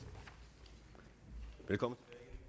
velkommen